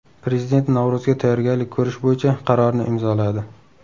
Prezident Navro‘zga tayyorgarlik ko‘rish bo‘yicha qarorni imzoladi.